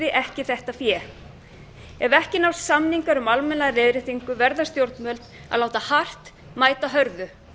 ekki þetta fé ef ekki nást samningar um almenna leiðréttingu verða stjórnvöld að láta hart mæta hörðu